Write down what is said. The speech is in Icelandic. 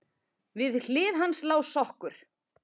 Við hlið hans lá sokkur.